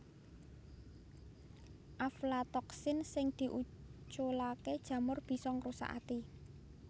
Aflatoksin sing diuculaké jamur bisa ngrusak ati